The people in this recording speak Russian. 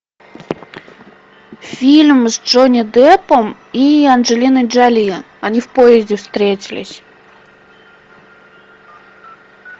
фильм с джонни деппом и анджелиной джоли они в поезде встретились